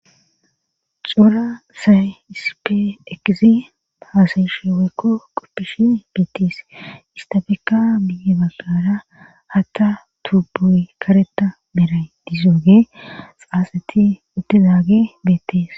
Cora sayisipe eqizi haazyshewekko kopishi betis istabeka miyebagara hata tubuy kareta meray dizoge saseti utezaage betis.